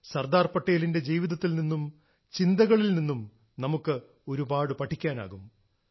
സർദാർ പട്ടേലിന്റെ ജീവിതത്തിൽ നിന്നും ചിന്തകളിൽ നിന്നും നമുക്ക് ഒരുപാട് പഠിക്കാനാകും